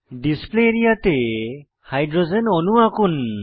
display area তে hydrogen অণু আঁকুন